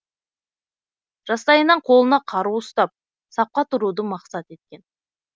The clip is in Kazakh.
жастайынан қолына қару ұстап сапқа тұруды мақсат еткен